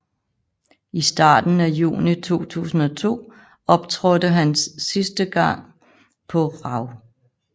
I starten af juni 2002 optrådte han en sidste gang på RAW